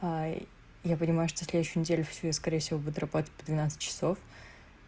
а я понимаю что следующую неделю всю я скорее всего буду работать по двенадцать часов